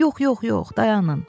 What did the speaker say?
Yox, yox, yox, dayanın.